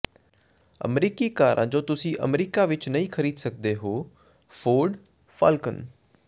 ਅਮਰੀਕੀ ਕਾਰਾਂ ਜੋ ਤੁਸੀਂ ਅਮਰੀਕਾ ਵਿਚ ਨਹੀਂ ਖ਼ਰੀਦ ਸਕਦੇ ਹੋ ਫੋਰਡ ਫਾਲਕਨ